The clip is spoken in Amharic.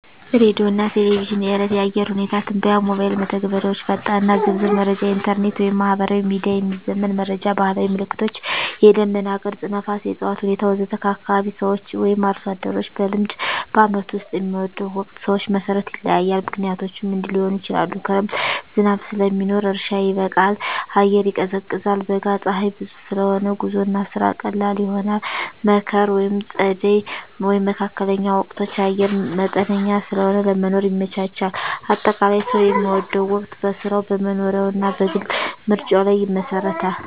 ሬዲዮና ቴሌቪዥን – የዕለት የአየር ሁኔታ ትንበያ ሞባይል መተግበሪያዎች ፈጣንና ዝርዝር መረጃ ኢንተርኔት/ማህበራዊ ሚዲያ – የሚዘመን መረጃ ባህላዊ ምልክቶች – የደመና ቅርጽ፣ ነፋስ፣ የእፅዋት ሁኔታ ወዘተ ከአካባቢ ሰዎች/አርሶ አደሮች – በልምድ በዓመቱ ውስጥ የሚወደው ወቅት ሰዎች መሠረት ይለያያል፣ ምክንያቶቹም እንዲህ ሊሆኑ ይችላሉ፦ ክረምት – ዝናብ ስለሚኖር እርሻ ይበቃል፣ አየር ይቀዝቃዛል። በጋ – ፀሐይ ብዙ ስለሆነ ጉዞና ስራ ቀላል ይሆናል። መከር/ጸደይ (መካከለኛ ወቅቶች) – አየር መጠነኛ ስለሆነ ለመኖር ይመቻቻል። አጠቃላይ፣ ሰው የሚወደው ወቅት በሥራው፣ በመኖሪያው እና በግል ምርጫው ላይ ይመሰረታል።